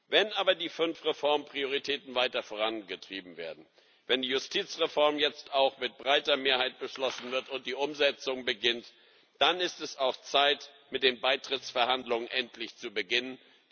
Wenn aber die fünf Reformprioritäten weiter vorangetrieben werden, wenn die Justizreform jetzt auch mit breiter Mehrheit beschlossen wird und die Umsetzung beginnt, dann ist es auch Zeit, mit den Beitrittsverhandlungen endlich zu beginnen.